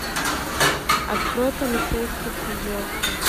открой полицейский с рублевки